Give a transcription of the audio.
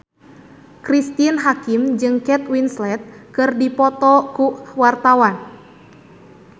Cristine Hakim jeung Kate Winslet keur dipoto ku wartawan